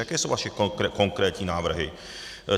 Jaké jsou vaše konkrétní návrhy?